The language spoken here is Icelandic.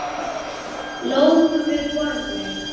Lóu við borðið.